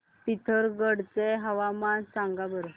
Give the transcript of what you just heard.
पिथोरगढ चे हवामान सांगा बरं